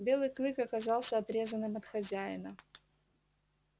белый клык оказался отрезанным от хозяина